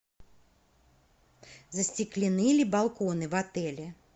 застеклены ли балконы в отеле